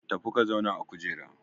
Tafi ka zauna a kujera!